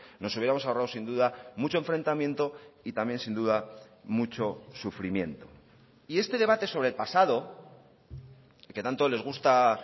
nos hubiéramos ahorrado sin duda mucho enfrentamiento y también sin duda mucho sufrimiento y este debate sobre el pasado que tanto les gusta